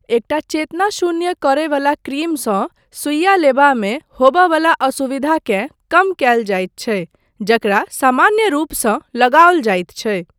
एकटा चेतनाशून्य करयवला क्रीमसँ सुइआ लेबामे होमयवला असुविधाकेँ कम कयल जाइत छै जकरा सामान्य रूपसँ लगाओल जाइत छै।